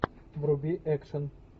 вруби экшен